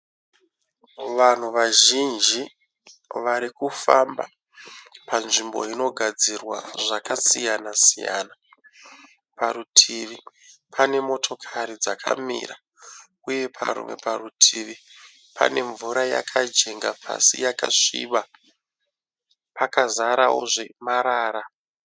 Vanhu vazhinji vari kufamba panzvimbo inogadzirwa zvakasiyana siyana. Parutivi pane motokari dzakamira uye parimwe parutivi pane mvura yakanjenga pasi yakasviba, pakazarawozve marara.